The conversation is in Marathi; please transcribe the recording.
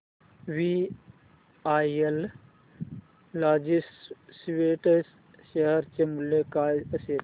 वीआरएल लॉजिस्टिक्स शेअर चे मूल्य काय असेल